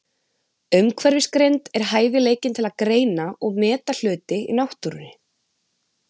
Umhverfisgreind er hæfileikinn til að greina og meta hluti í náttúrunni.